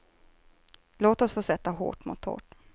Låt oss få sätta hårt mot hårt.